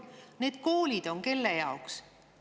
Need koolid on kelle jaoks?